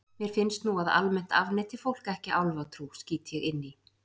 Mér finnst nú að almennt afneiti fólk ekki álfatrú, skýt ég inn í.